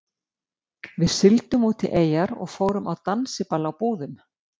Við sigldum út í eyjar og fórum á dansiball á Búðum.